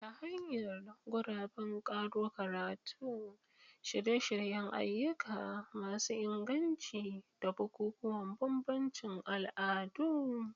Ta hanyar guraben karo karatu, shirye-shiryen ayyuka masu inganci, da bukukuwan bambancin al'adu.